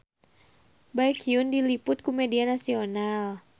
Baekhyun diliput ku media nasional